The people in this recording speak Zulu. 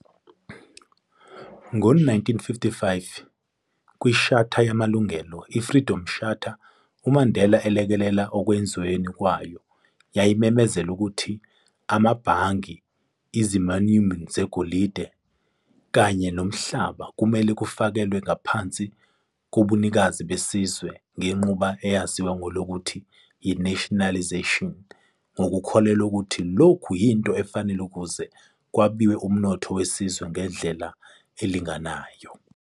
Ngo 1955, kwiShatha yamalungelo, i-Freedom Charter, uMandela alekelela ekwenzweni kwayo, yayimemezela ukuthi amabhangi, izimauimi zegolide kanye nomhlaba kumele kufakelwe ngaphansi kobunikazi besizwe ngenqubo eyaziwa ngelokuthi yi-nationalisation, ngokukholelwa ukuthi lokhu yinto efanele ukuze kwabiwe umnotho wesizwe ngendlela elinganayo.